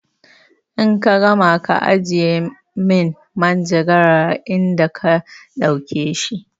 In ka gama ka ajiye min manjagara a inda ka ɗauke shi!